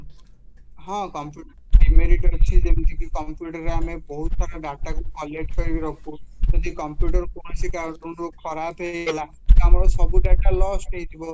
ହଁ, computer demerit ଅଛି ଯେମିତିକି computerରେ ଆମେ ବହୁତ ପ୍ରକାର dataକୁ collect କରିକି ରଖୁ ଯଦି computer କୌଣସି କାରଣରୁ ଖରାପ ହେଇଗଲା ତ ଆମର ସବୁ data loss ହେଇଯିବ